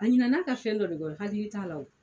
A ɲin'a ka fɛn dɔ de kɔ n hakili t'a la